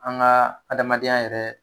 An ka adamadenya yɛrɛ